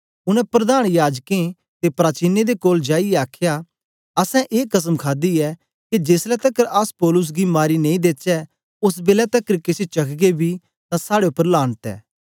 उनै प्रधान याजकें ते प्राचीनें दे कोल जाईयै आखया असैं ए कसम खादी ऐ के जेसलै तकर अस पौलुस गी मारी नेई देचै ओस बेलै तकर केछ चखगे बी तां साड़े उपर लानत ऐ